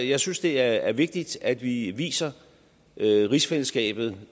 jeg synes det er vigtigt at vi viser rigsfællesskabet